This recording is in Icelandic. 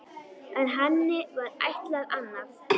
En henni var ætlað annað.